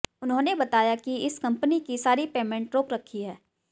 उन्होंने बताया कि इस कंपनी की सारी पेमेंट रोक रखी है